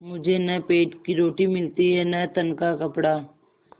मुझे न पेट की रोटी मिलती है न तन का कपड़ा